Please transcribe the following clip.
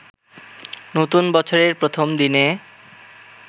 নতুন বছরের প্রথম দিনে